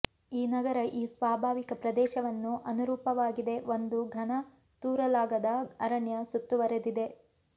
ಈ ನಗರ ಈ ಸ್ವಾಭಾವಿಕ ಪ್ರದೇಶವನ್ನು ಅನುರೂಪವಾಗಿದೆ ಒಂದು ಘನ ತೂರಲಾಗದ ಅರಣ್ಯ ಸುತ್ತುವರೆದಿದೆ